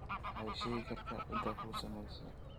ma ii sheegi kartaa cidda ku samaysay